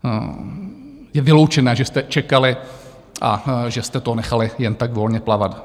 Je vyloučené, že jste čekali a že jste to nechali jen tak volně plavat.